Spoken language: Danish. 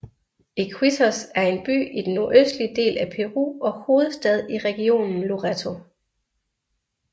Iquitos er en by i den nordøstlige del af Peru og hovedstad i regionen Loreto